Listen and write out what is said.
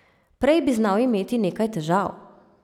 Prej bi znal imeti nekaj težav.